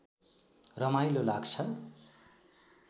रमाइलो लाग्छ